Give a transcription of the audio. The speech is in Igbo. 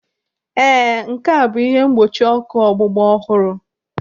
Ee, nke a bụ ihe mgbochi ọkụ ọgbụgba ọhụrụ.